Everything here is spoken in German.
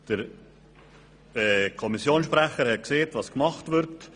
Der Kommissionssprecher hat gesagt, was gemacht wird.